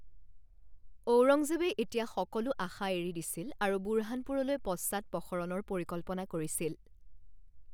ঔৰংজেবে এতিয়া সকলো আশা এৰি দিছিল আৰু বুৰহানপুৰলৈ পশ্চাদপসৰণৰ পৰিকল্পনা কৰিছিল।